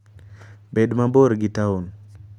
Bed mabor gi taon.